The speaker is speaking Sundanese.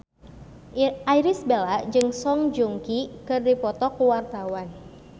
Irish Bella jeung Song Joong Ki keur dipoto ku wartawan